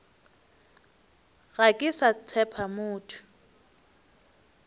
ga ke sa tshepa motho